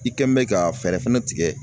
I kɛ mɛn ka fɛɛrɛ fɛnɛ tigɛ